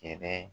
Kɛlɛ